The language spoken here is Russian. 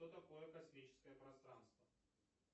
что такое космическое пространство